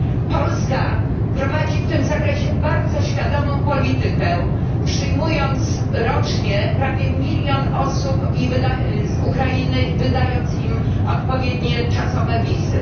Polska prowadzi w tym zakresie bardzo świadomą politykę, przyjmując rocznie prawie milion osób z Ukrainy i wydając im odpowiednie czasowe wizy.